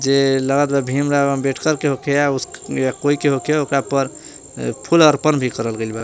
ये लागत बा भीमराव अंबेडकर के होखे या कोई के होखे ओकरा पर फूल अर्पण भी करल गइल बा।